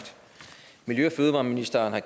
miljø og fødevareministeren har